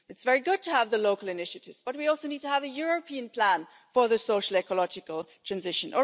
It's very good to have local initiatives, but we also need to have a European plan for social ecological transition.